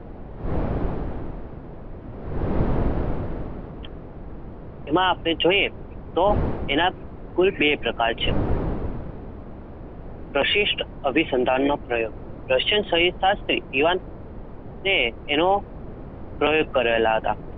એમાં આપડે જોઈએ તો એના કુલ બે પ્રકાર છે? પ્રશિસ્થ, અભી સંતાન ન પ્રયોગ, રશિયન સહિત પાસ થી દીવાન તેનો